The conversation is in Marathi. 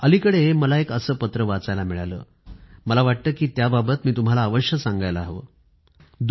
अलीकडेच मला एक असं पत्र वाचायला मिळालं मला वाटतं की त्या बाबत मी तुम्हाला अवश्य सांगायला हवं